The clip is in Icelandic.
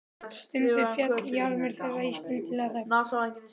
Stundum féll jarmur þeirra í skyndilega þögn.